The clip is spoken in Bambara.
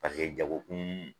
Paseke jago kun.